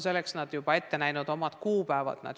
Nad on juba ette näinud omad kuupäevad.